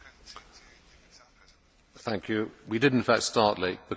We did in fact start late because some Commissioners and some Members were not present.